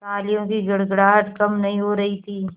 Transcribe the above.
तालियों की गड़गड़ाहट कम नहीं हो रही थी